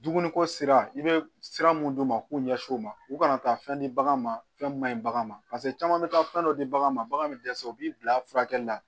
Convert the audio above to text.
Dumuni ko sira i bɛ sira minnu d'u ma k'u ɲɛsin u ma u kana taa fɛn di baganw ma fɛn mun man ɲi baganw ma caman bɛ taa fɛn dɔ di bagan ma bagan bɛ dɛsɛ u b'i bila furakɛli la